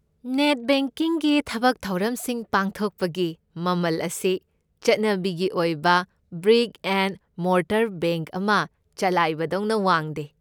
Net ꯕꯦꯡꯀꯤꯡꯒꯤ ꯊꯕꯛꯊꯧꯔꯝꯁꯤꯡ ꯄꯥꯡꯊꯣꯛꯄꯒꯤ ꯃꯃꯜ ꯑꯁꯤ ꯆꯠꯅꯕꯤꯒꯤ ꯑꯣꯏꯕ ꯕ꯭ꯔꯤꯛ ꯑꯦꯟ ꯃꯣꯔꯇꯔ ꯕꯦꯡꯛ ꯑꯃ ꯆꯂꯥꯏꯕꯗꯧꯅ ꯋꯥꯡꯗꯦ꯫